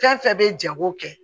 Fɛn fɛn bɛ jago kɛ